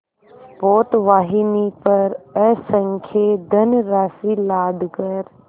पोतवाहिनी पर असंख्य धनराशि लादकर